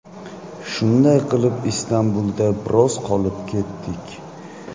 Shunday qilib Istanbulda biroz qolib ketdik.